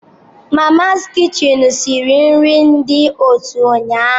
Mamas kichin siri nri dị ụtọ ụnyaahụ